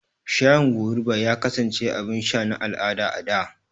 Shayin goruba ya kasance abin sha na al'ada a da.